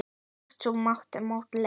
Íþrótt sú að móta leir.